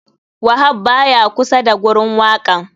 Wahab baya kusa da gurin wakan.